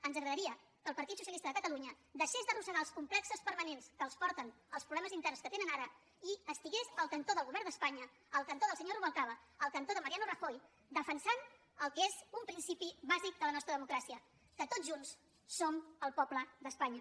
ens agradaria que el partit socialista de cata lunya deixés d’arrossegar els complexos permanents que els porten als problemes interns que tenen ara i estigués al cantó del govern d’espanya al cantó del senyor rubalcaba al cantó de mariano rajoy defensant el que és un principi bàsic de la nostra democràcia que tots junts som el poble d’espanya